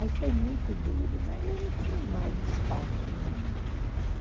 Aí foi muito duro, né, eu não tinha mais espaço nenhum.